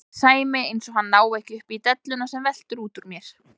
segir Sæmi eins og hann nái ekki upp í delluna sem veltur út úr mér.